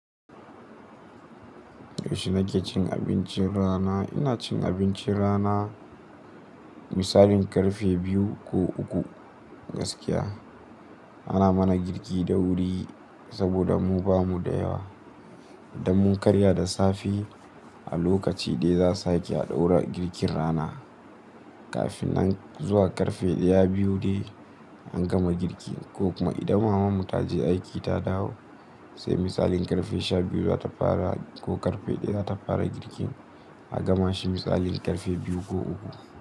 Yaushe nake cin abincin rana? Ina cin abincin rana misalin karfe biyu ko uku gaskiya. Ana mana girki da wuri saboda mu bamu da yawa. Idan mun karya da safe a lokaci ɗaya za su sake ha ɗaura girkin rana. Kafin nan zuwa karfe ɗaya, biyu dai an gama girki ko kuma idan mamanmu ta je aiki ta dawo, sai misalin karfe sha biyu za ta fara ko karfe ɗaya za ta fara girkin, a gama shi misalin karfe biyu ko uku.